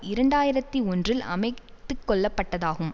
இரண்டு ஆயிரத்தி ஒன்றில் அமைத்துக்கொள்ளப்பட்டதாகும்